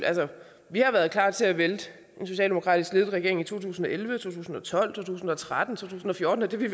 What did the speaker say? vi har været klar til at vælte en socialdemokratisk ledet regering i to tusind og elleve to tusind og tolv to tusind og tretten og to tusind og fjorten og det vil